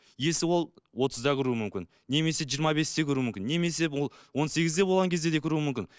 есі ол отызда кіруі мүмкін немесе жиырма бесте кіруі мүмкін немесе ол он сегізде болған кезде де кіруі мүмкін